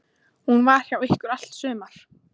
Hún var hjá ykkur í allt sumar.